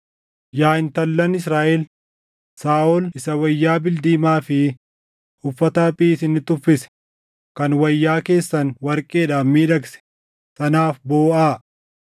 “Yaa intallan Israaʼel, Saaʼol isa wayyaa bildiimaa fi uffata haphii isinitti uffise, kan wayyaa keessan warqeedhaan miidhagse, sanaaf booʼaa.